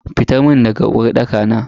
Fita mun daga uwarɗaka na.